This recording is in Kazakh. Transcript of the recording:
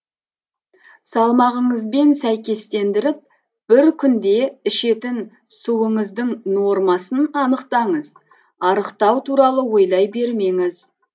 салмағыңызбен сәйкестендіріп бір күнде ішетін суыңыздың нормасын анықтаңыз арықтау туралы ойлай бермеңіз